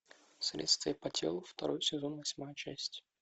следствие по телу второй сезон восьмая часть